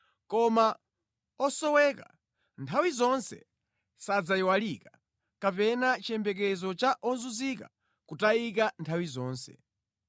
Koma osowa sadzayiwalika nthawi zonse, kapena chiyembekezo cha ozunzika kutayika nthawi zonse.